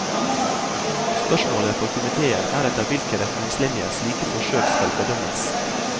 Spørsmålet for komitéen er etter hvilke retningslinjer slike forsøk skal bedømmes.